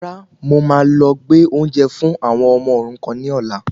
Rárá, mo máa lọ gbé oúnjẹ fún àwọn ọmọ òrukan ní ọ̀la